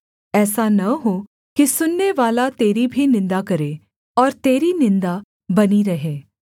ऐसा न हो कि सुननेवाला तेरी भी निन्दा करे और तेरी निन्दा बनी रहे